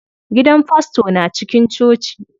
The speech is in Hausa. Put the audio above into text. Gidan fasto na cikin coci.